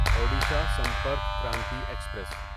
Odisha Sampark Kranti express